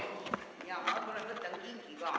Jaa, ma tulen võtan kingi ka.